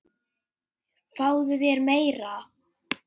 Fáðu þér meira!